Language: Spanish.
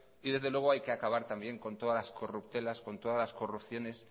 y desde luego hay que acabar también con todas las corruptelas con todas corrupciones